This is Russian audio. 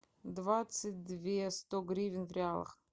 двадцать две сто гривен в реалах